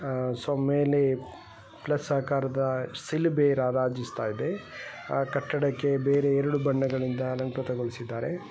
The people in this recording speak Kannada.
ಸೊ ಮೇಲೆ ಪ್ಲಸ್ ಆಕಾರದ ಶಿಲುಬೆ ರಾರಾಜಿಸ್ತ ಇದೆ ಆ ಕಟ್ಟಡಕೆ ಬೇರೆ ಎರಡು ಬಣ್ಣಗಳಿಂದ ಅಲಂಕೃತಗೊಳಿಸಿದ್ದಾರೆ .